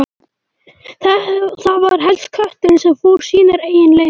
Það var helst kötturinn sem fór sínar eigin leiðir.